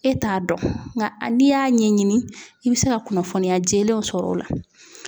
E t'a dɔn nka a n'i y'a ɲɛɲini i bɛ se ka kunnafoniya jɛlenw sɔrɔ o la.